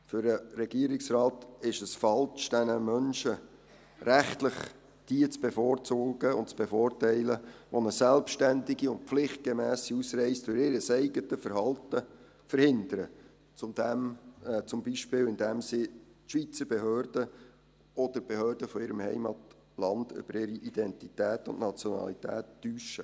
Für den Regierungsrat ist es falsch, diese Menschen rechtlich zu bevorzugen und zu bevorteilen, die eine selbstständige und pflichtgemässe Ausreise durch ihr eigenes Verhalten verhindern, zum Beispiel indem sie die Schweizer Behörden oder die Behörden von ihrem Heimatland über ihre Identität und Nationalität täuschen.